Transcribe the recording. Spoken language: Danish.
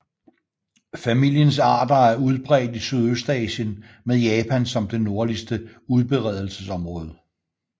Familiens arter er udbredt i Sydøstasien med Japan som det nordligste udbredelsesområde